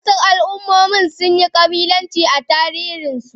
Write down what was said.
Wasu al'ummomi sun yi kabilanci a tarihinsu.